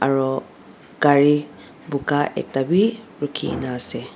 aro gari buka ekta wii rukhi na ase.